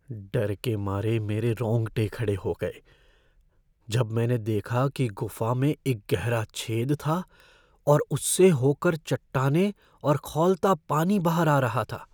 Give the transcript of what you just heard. डर के मारे मेरे रोंगटे खड़े हो गए जब मैंने देखा कि गुफ़ा में एक गहरा छेद था और उससे होकर चट्टानें और खौलता पानी बाहर आ रहा था।